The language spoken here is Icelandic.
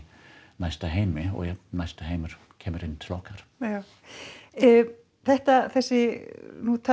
næsta heim og næsti heimur kemur inn til okkar já þetta þessi nú